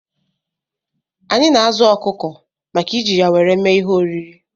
Anyị na-azụ ọkụkọ maka iji ya nwere mee ihe oriri